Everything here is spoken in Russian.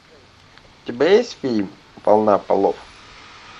у тебя есть фильм война полов